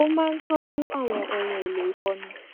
ó máa ń tọjú àwọn ohun èlò ìfọnu